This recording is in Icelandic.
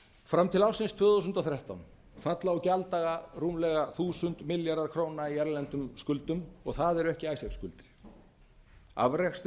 fram til ársins tvö þúsund og þrettán falla á gjalddaga rúmlega þúsund milljarðar króna í erlendum skuldum og það eru ekki icesave